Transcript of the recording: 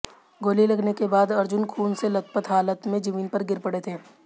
गोली लगने के बाद अर्जुन खून से लथपथ हालत में जमीन पर गिर पड़े थे